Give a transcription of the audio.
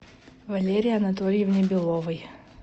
валерии анатольевне беловой